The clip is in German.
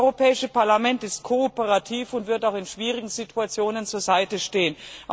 Das Europäische Parlament ist kooperativ und wird auch in schwierigen Situationen zur Seite stehen.